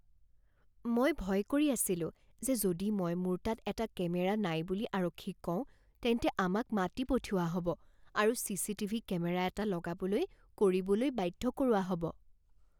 মই ভয় কৰি আছিলো যে যদি মই মোৰ তাত এটা কেমেৰা নাই বুলি আৰক্ষীক কওঁ তেন্তে আমাক মাতি পঠিওৱা হ'ব আৰু CCTV camera এটা লগাবলৈ কৰিবলৈ বাধ্য কৰোৱা হ'ব।